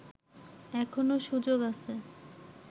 এখনো সুযোগ আছে